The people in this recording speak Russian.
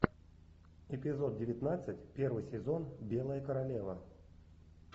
эпизод девятнадцать первый сезон белая королева